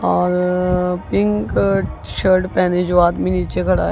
और pink shirt पहने जो आदमी नीचे खड़ा--